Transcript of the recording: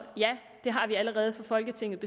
ja det har vi allerede fra folketingets